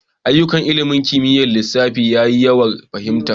Ayyukan ilimin kimiyyar lissafi ya yi wuyar fahimta.